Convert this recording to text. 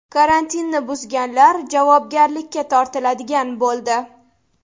Karantinni buzganlar javobgarlikka tortiladigan bo‘ldi.